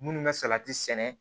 Minnu bɛ salati sɛnɛ